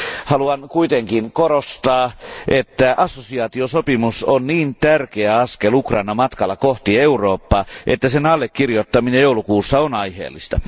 Haluan kuitenkin korostaa, että assosiaatiosopimus on niin tärkeä askel Ukrainan matkalla kohti Eurooppaa, että sen allekirjoittaminen joulukuussa on aiheellista.